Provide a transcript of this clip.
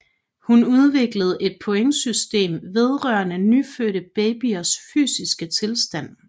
Hun udviklede et pointsystem vedrørende nyfødte babyers fysiske tilstand